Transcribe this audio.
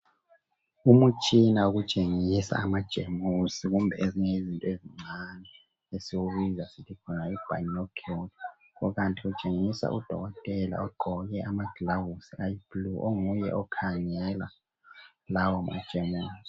Umtshina wokutshengisa amajemusi kumbe ezinye izinto ezicane esiwubiza sithi yobinocular kukanti utshengisa udokotela ugqoke amagilovisi ayiblue onguye okhangela lawomajemusi.